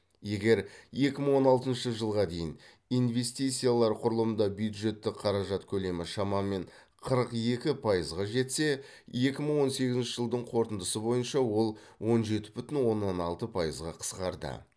егер екі мың он алтыншы жылға дейін инвестициялар құрылымда бюджеттік қаражат көлемі шамамен қырық екі пайызға жетсе екі мың он сегізінші жылдың қорытындысы бойынша ол он жеті бүтін оннан алты пайызға қысқарды